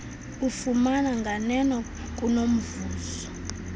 ufumana nganeno kunomvuzo